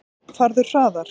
Farðu hraðar.